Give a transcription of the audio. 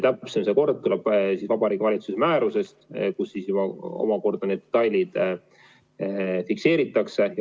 Täpsem kord tuleb Vabariigi Valitsuse määrusest, kus omakorda need detailid fikseeritakse.